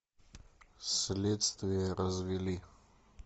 следствие развели